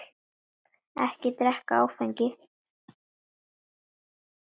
Ekki drekka áfengi.